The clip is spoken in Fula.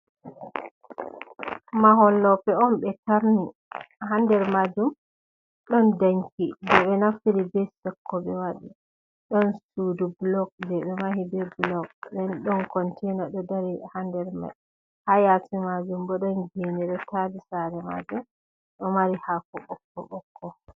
Mahol loope on ɓe tarni, haa nder maajum ɗon danki, bo ɓe naftiri be sekko, ɓe waɗi ɗon suudu bulok ɓe mahi be bulok, ɗon kontiina ɗo dari haa nder maajum, bo ɗon geene ɗo taari saare maajum, ɗo mari haako bokko- bokko.